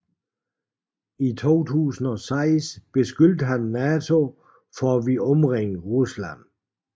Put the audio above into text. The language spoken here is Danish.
I 2006 beskyldte han NATO for at ville omringe Rusland